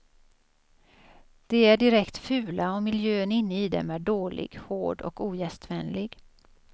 De är direkt fula och miljön inne i dem är dålig, hård och ogästvänlig.